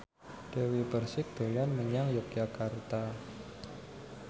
Dewi Persik dolan menyang Yogyakarta